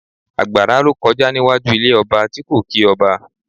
Àgbàrá ló kọjá níwájú ilé ọba tí kò kí ọba